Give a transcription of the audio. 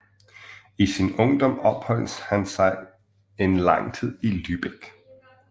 I sin ungdom opholdt han sig en tid lang i Lübeck